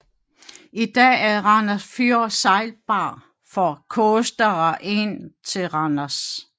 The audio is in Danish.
I dag er Randers Fjord sejlbar for coastere ind til Randers